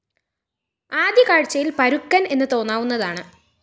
ആദ്യകാഴ്ചയില്‍ പരുക്കന്‍ എന്ന് തോന്നാവുന്നതാണ്